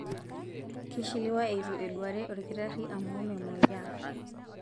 Keishiliwa eitu eduaare olkitarri amu memoyiaa.